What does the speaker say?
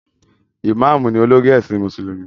Ìmáàmù ni olórí ẹ̀sìn Mùsùlùmí